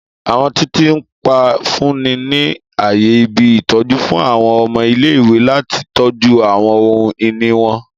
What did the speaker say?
Àwọn titiipa nfunni ni aaye ibi-itọju fun àwọn ọmọ ile-iwe lati tọju àwọn ohun-ini wọn.